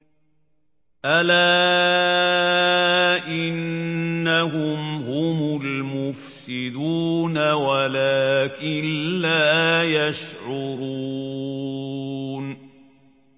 أَلَا إِنَّهُمْ هُمُ الْمُفْسِدُونَ وَلَٰكِن لَّا يَشْعُرُونَ